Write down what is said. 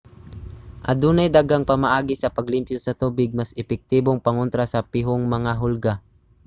adunay daghang pamaagi sa paglimpyo sa tubig mas epektibong pangontra sa pihong mga hulga